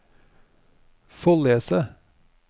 Follese